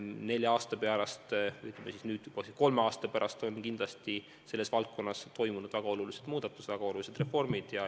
Nelja aasta pärast – või ütleme, nüüd juba kolme aasta pärast – on selles valdkonnas kindlasti toimunud väga olulised muudatused, väga olulised reformid.